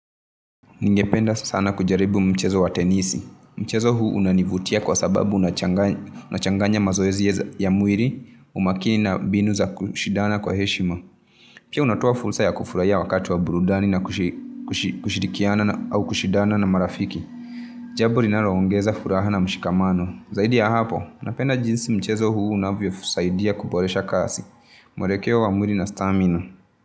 Ningependa sana kujaribu mchezo wa tenisi. Mchezo huu unanivutia kwa sababu unachanganya mazoezi ya mwili, umakini na mbinu za kushidana kwa heshima. Pia unatoa fursa ya kufurahia wakati wa burudani na kushirikiana au kushindana na marafiki. Jambo linalo ongeza furaha na mshikamano. Zaidi ya hapo. Napenda jinsi mchezo huu unavyosaidia kuboresha kazi. Mwelekeo wa mwili na stamina.